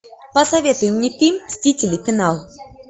посоветуй мне фильм мстители финал